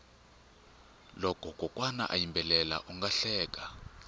loko kokwana a yimbela unga hleka